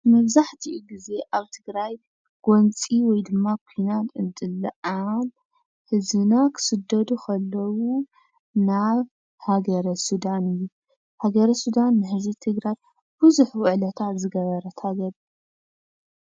መብዛሕቲኡ ግዜ ኣብ ትግራይ ጎንፂ ወይድማ ኩናት እንትለዓል ህዝብና ክስደዱ ከለው ናብ ሃገረ ሱዳን እዩ። ሃገረ ሱዳን ንህዝቢ ትግራይ ብዙሕ ውዕለታ ዝገበረት ሃገር እያ።